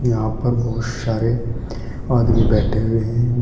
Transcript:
यहां पर बहुत सारे आदमी बैठे हुए हैं।